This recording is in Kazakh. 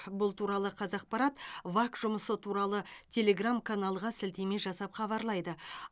бұл туралы қазақпарат вак жұмысы туралы телеграм каналға сілтеме жасап хабарлайды